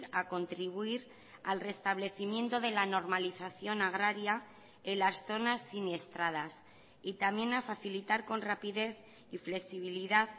a contribuir al restablecimiento de la normalización agraria en las zonas siniestradas y también a facilitar con rapidez y flexibilidad